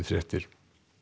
fréttir